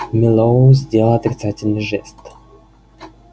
мэллоу сделал отрицательный жест